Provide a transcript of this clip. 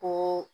Ko